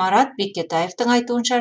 марат бекетаевтың айтуынша